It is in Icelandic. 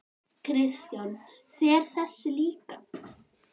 Kristján: Fer þessi líka?